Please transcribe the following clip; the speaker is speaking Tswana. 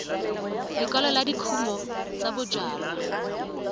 lekala la dikumo tsa bojalwa